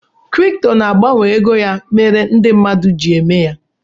Kripto na-agbanwe ego ya mere ndị mmadụ ji eme ya.